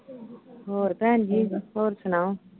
ਹੋਰ ਭੈਣ ਜੀ, ਹੋਰ ਸੁਣਾਓ।